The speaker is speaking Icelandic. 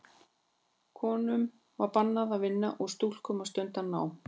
Konum var bannað að vinna og stúlkum að stunda nám.